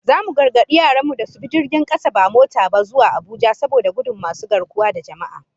Zamu gargadi yaran mu da su bi jirgin kasa ba mota ba, zuwa Abuja, saboda gudun masu garkuwa da jama'a